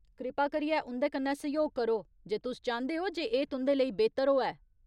कृपा करियै उं'दे कन्नै सैह्‌योग करो, जे तुस चांह्दे ओ जे एह् तुं'दे लेई बेह्तर होऐ।